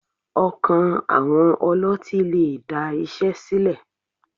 Ọkàn àwọn ọlọ́tín lè da iṣẹ́ sílẹ̀.